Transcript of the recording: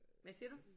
Hvad siger du